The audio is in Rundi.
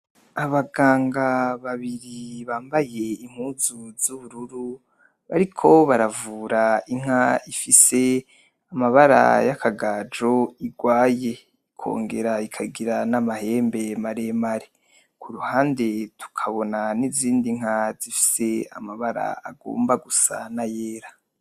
Abaganga babiri bambaye impuzu z' ubururu bariko baravura inka ifise amabara y' akagajo irwaye ikongera ikagira n' amahembe maremare, kuruhande tukabona n' izindi nka zifise amabara agomba gusa nayera.